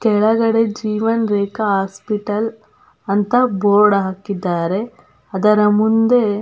ಕೆಳಗಡೆ ಜೀವನ್ ರೇಖಾ ಹಾಸ್ಪಿಟಲ್ ಅಂತ ಬೊರ್ಡ್ ಹಾಕಿದ್ದಾರೆ ಅದರ ಮುಂದೆ --